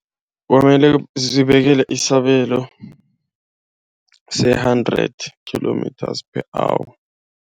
Kwamele zibekelwe isabelo se-hundred kilometre per hour.